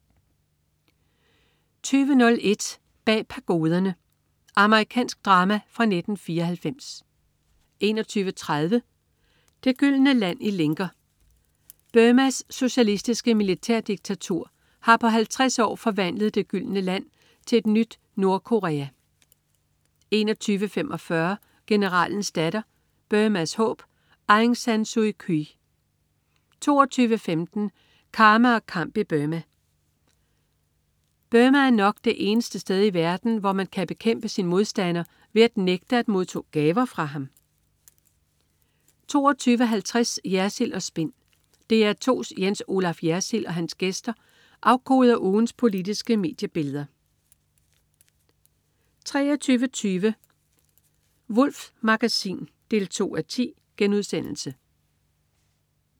20.01 Bag Pagoderne. Amerikansk drama fra 1994 21.30 Det gyldne land i lænker. Burmas socialistiske militærdiktatur har på 50 år forvandlet "det gyldne land" til et nyt Nordkorea 21.45 Generalens datter. Burmas håb. Aung San Suu Kyi 22.15 Karma og kamp i Burma. Burma er nok det eneste sted i verden, hvor man kan bekæmpe sin modstander ved at nægte at modtage gaver fra ham 22.50 Jersild & Spin. DR2's Jens Olaf Jersild og hans gæster afkoder ugens politiske mediebilleder 23.20 Wulffs Magasin 2:10*